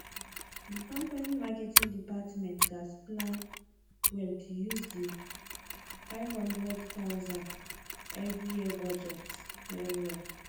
di company marketing department gatz plan well to use di 500000 every year budget wellwell